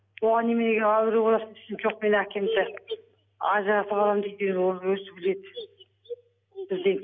оған неменеге әуре боласың десем жоқ мен әкемді ажыратып аламын дейді енді оны өзі біледі бізден